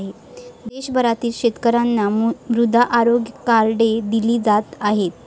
देशभरातील शेतकऱ्यांना मृदा आरोग्य कार्डे दिली जात आहेत.